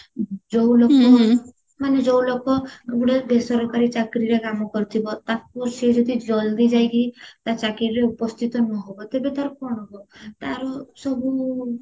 ଯୋଉ ମାନେ ଯୋଉ ଲୋକ ଗୋଟେବ ବେସରକାରୀ ଚାକିରୀରେ କାମ କରିଥିବ ତାକୁ ସିଏ ଯଦି ଜଳଦି ଯାଇକି ତା ଚାକିରୀରେ ଉପସ୍ଥିତ ନହବ ତେବେ ତାର କଣ ହବ ତାର ସବୁ